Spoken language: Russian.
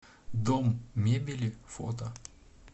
дом мебели фото